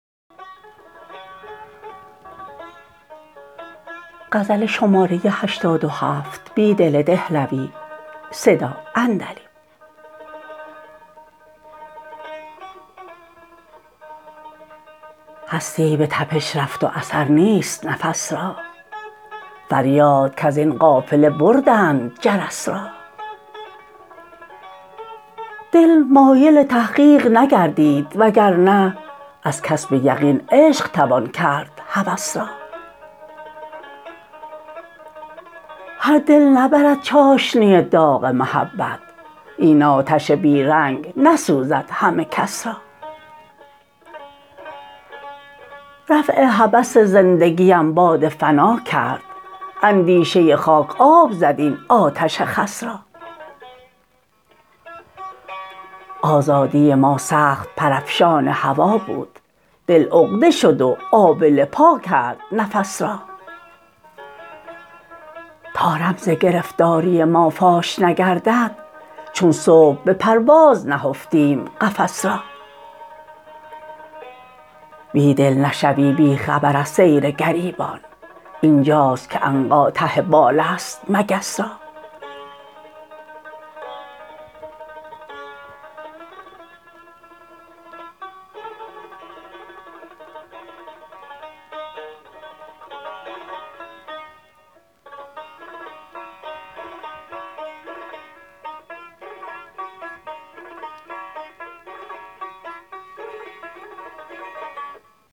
هستی به تپش رفت واثرنیست نفس را فریادکزین قافله بردند جرس را دل مایل تحقیق نگردید وگرنه ازکسب یقین عشق توان کرد هوس را هر دل نبرد چاشنی داغ محبت این آتش بی رنگ نسوزد همه کس را رفع هوس زندگی ام باد فناکرد اندیشه خاک آب زد این آتش خس را آزادی ما سخت پرافشان هوا بود دل عقده شد وآبله پاگرد نفس را تا رمزگرفتاری ما فاش نگردد چون صبح به پرواز نهفتیم قفس را بیدل نشوی بیخبر از سیرگریبان اینجاست که عنقا ته بال است مگس را